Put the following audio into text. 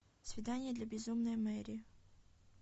свидание для безумной мэри